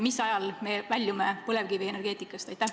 Mis ajal me väljume põlevkivienergeetikast?